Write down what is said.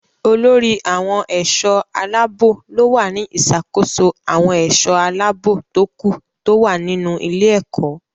Olórí àwọn ẹ̀ṣọ́-aláàbọ̀ ló wà ní ìṣàkóso àwọn ẹ̀ṣọ́ aláàbò tókù tó wà nínú ilé-ẹ̀kọ́.